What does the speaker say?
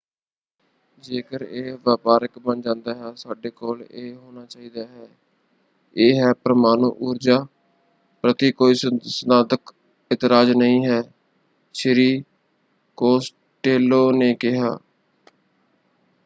ਜੇਕਰ ਇਹ ਵਪਾਰਕ ਬਣ ਜਾਂਦਾ ਹੈ ਸਾਡੇ ਕੋਲ ਇਹ ਹੋਣਾ ਚਾਹੀਦਾ ਹੈ। ਇਹ ਹੈ ਪਰਮਾਣੂ ਊਰਜਾ ਪ੍ਰਤੀ ਕੋਈ ਸਿਧਾਂਤਕ ਇਤਰਾਜ਼ ਨਹੀਂ ਹੈ” ਸ਼੍ਰੀ ਕੋਸਟੇਲੋ ਨੇ ਕਿਹਾ।